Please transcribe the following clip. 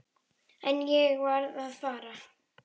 En ég varð að fara.